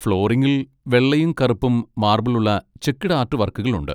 ഫ്ലോറിംഗിൽ വെള്ളയും കറുപ്പും മാർബിൾ ഉള്ള ചെക്ക്ഡ് ആർട്ട് വർക്കുകൾ ഉണ്ട്.